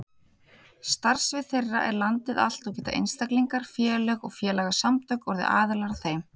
Starfsvið þeirra er landið allt og geta einstaklingar, félög og félagasamtök orðið aðilar að þeim.